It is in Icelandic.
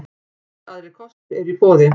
Engir aðrir kostur eru í boði.